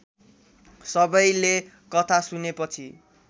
सबैले कथा सुनेपछि